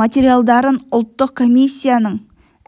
материалдарын ұлттық комиссияның